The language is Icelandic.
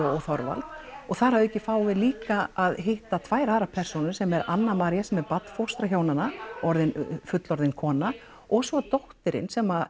og Þorvald og þar að auki fáum við líka að hitta tvær aðrar persónur sem eru Anna María sem er barnfóstra hjónanna orðin fullorðin kona og svo dóttirin sem